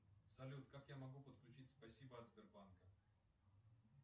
салют как я могу подключить спасибо от сбербанка